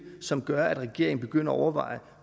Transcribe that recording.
som gør at regeringen begynder at overveje